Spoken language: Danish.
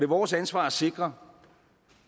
vores ansvar at sikre